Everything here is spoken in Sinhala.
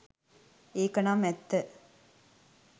ඒක නම් ඇත්ත